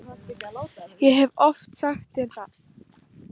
Ég hef oft sagt þér það.